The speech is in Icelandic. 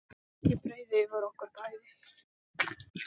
Ég breiði yfir okkur bæði.